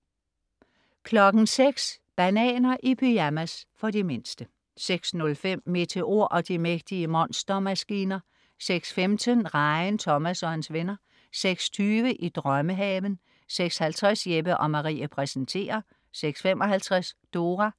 06.00 Bananer i pyjamas. For de mindste 06.05 Meteor og de mægtige monstermaskiner 06.15 Rejen Thomas og hans venner 06.20 I drømmehaven 06.50 Jeppe & Marie præsenterer 06.55 Dora